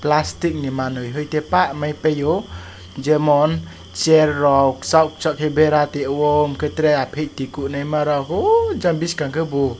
plastic ni manui tei pa mai too jemon chair rok chawk chak kwbera teio unkempt traia kunui ma rok unkempt bwskang ke bo.